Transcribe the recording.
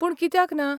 पूण कित्याक ना?